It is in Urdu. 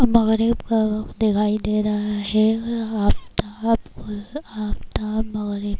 اور مغرب کا وقت دکھائی دے رہا ہے اور افتاب اور افتاب مغرب